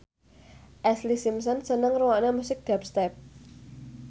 Ashlee Simpson seneng ngrungokne musik dubstep